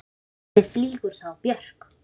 En hvernig flýgur þá Björk?